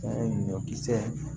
ye ɲɔkisɛ